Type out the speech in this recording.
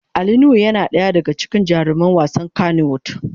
Ali nuhu yana daya daga cikin jaruman wasan kanny wood.